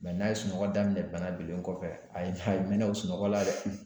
n'a ye sunɔgɔ daminɛ bana bilen kɔfɛ, ayi! A ye mɛn na o sunɔgɔ la dɛ!